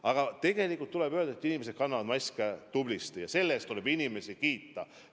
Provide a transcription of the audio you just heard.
Aga tegelikult tuleb öelda, et inimesed kannavad maske tublisti, ja selle eest tuleb inimesi kiita.